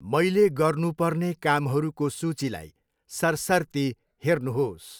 मैले गर्नुपर्ने कामहरूको सूचीलाई सरसर्ती हेर्नुहोस्।